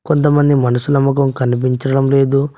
కొంతమంది మనుసుల మొకం కనిపించడం లేదు.